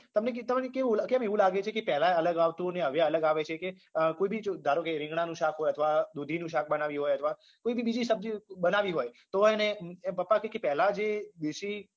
તમને કેટ તમને કેવું એટલે કેમ એવું લાગે છે પેલા અલગ આવતું ને હવે અલગ આવે છે કે અમ કોઈ બી ધારો કે રીંગણાંનું શાક હોય અથવા દૂધીનું શાક બનાવ્યું હોય અથવા કોઈ બી બીજી સબ્જી બનાવી હોય તોય ને પપ્પા કે કે પેલા જે દેશી